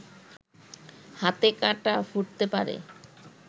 হাতে কাঁটা ফুটতে পারে